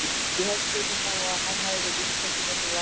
Ég held svei mér þá að að hann hafi verið með ríkustu mönnum landsins.